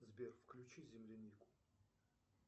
сбер включи землянику